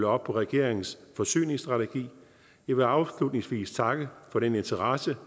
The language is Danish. op på regeringens forsyningsstrategi jeg vil afslutningsvis takke for den interesse